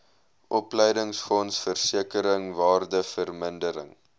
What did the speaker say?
opleidingsfonds versekering waardevermindering